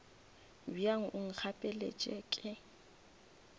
bjang o nkgapelet se ke